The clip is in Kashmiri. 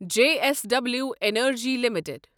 J S W energy limited